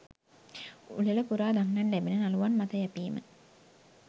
උළෙල පුරා දක්නට ලැබෙන නළුවන් මත යැපීම